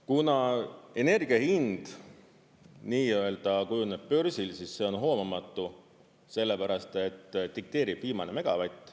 Kuna energia hind nii-öelda kujuneb börsil, siis see on hoomamatu, sellepärast et dikteerib viimane megavatt.